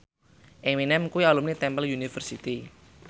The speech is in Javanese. Eminem kuwi alumni Temple University